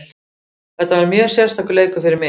Þetta var mjög sérstakur leikur fyrir mig.